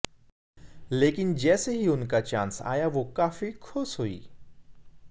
लेकिन जैसे ही उनका चांस आया वो काफी खुश हुईं